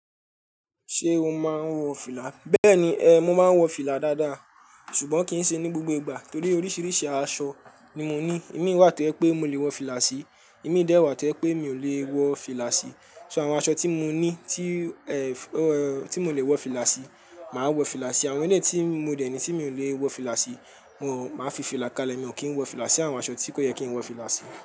Ṣé o máa ń wọ fìlà? Bẹ́ẹ̀ni ẹ, mo máa ń wọ fìlà dáadáa ṣùgbọ́n kì í ṣe ní gbogbo ìgbà torí oríṣìíríṣìí aṣọ ni mo ní. Imi wà tó je pé mo lè wọ fìlà sí, imì dẹ̀ wà tó je pé mi ò lè wọ fìlà sí. So àwọn aṣọ tí mo ní, tí mo lè wọ fìlà sí, màá wọ fìlà sí. Àwọn eleyi tí mo dẹ̀ ní tí mi ò lè wọ fìlà sí mo máa fi fìlà kalẹ̀, èmi ò kí ń wọ fìlà sí àwọn aṣọ tí kò yẹ kí ń wọ fìlà sí.